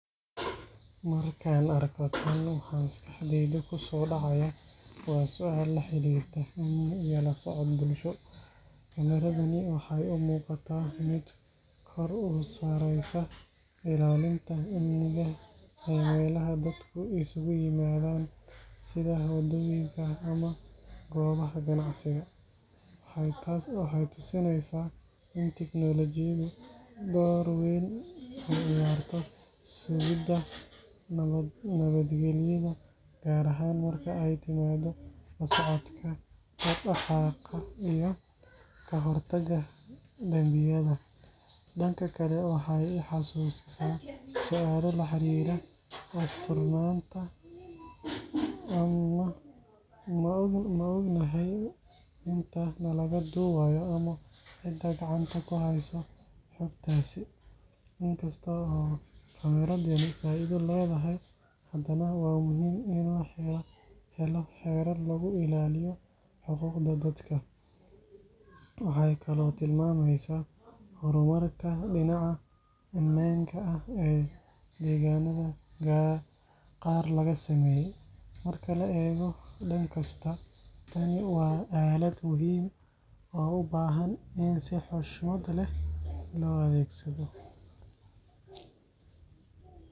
Markaan arko tan, waxa maskaxdayda ku soo dhacaya waa su'aal la xiriirta amni iyo la socod bulsho. Kaamiradani waxay u muuqataa mid kor u saaraysa ilaalinta amniga ee meelaha dadku isugu yimaadaan sida waddooyinka ama goobaha ganacsiga. Waxay tusinaysaa in teknoolajiyadu door weyn ka ciyaarto sugidda nabadgelyada, gaar ahaan marka ay timaado la socodka dhaqdhaqaaqa iyo ka hortagga dambiyada. Dhanka kale, waxay i xasuusisaa su’aalo la xiriira asturnaanta: ma ognahay inta nalaga duubayo ama cidda gacanta ku haysa xogtaasi? In kasta oo kaamiradani faa’iido leedahay, haddana waa muhiim in la helo xeerar lagu ilaaliyo xuquuqda dadka. Waxay kaloo tilmaamaysaa horumarka dhinaca ammaanka ah ee deegaanada qaar laga sameeyay. Marka la eego dhan kasta, tani waa aalad muhiim ah oo u baahan in si xushmad leh loo adeegsado.